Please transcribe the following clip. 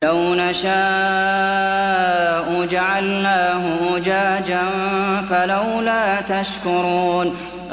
لَوْ نَشَاءُ جَعَلْنَاهُ أُجَاجًا فَلَوْلَا تَشْكُرُونَ